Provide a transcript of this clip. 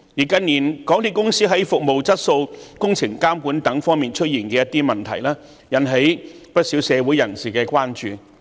近年，港鐵公司在服務質素、工程監管等方面出現的一些問題，引起了不少社會人士的關注。